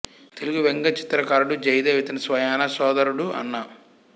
తెలుగు వ్యంగ్య చిత్రకారుడు జయదేవ్ ఇతని స్వయానా సోదరుడు అన్న